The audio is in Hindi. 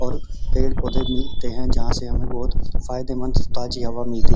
और पेड़-पौधे भी होते हैं जहाँ से हमें फायदेमंद ताज़ हवा मिलती है।